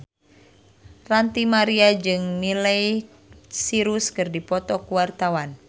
Ranty Maria jeung Miley Cyrus keur dipoto ku wartawan